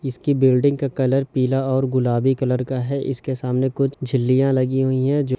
इसकी बिल्डिंग का कलर पीला और गुलाबी कलर का है इनके सामने कुछ झीलियाँ लगी हुई है।